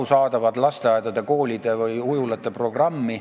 ... arusaadavat lasteaedade, koolide või ujulate programmi.